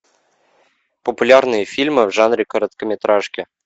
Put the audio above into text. популярные фильмы в жанре короткометражки